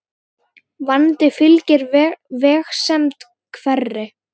Vandi fylgir vegsemd hverri.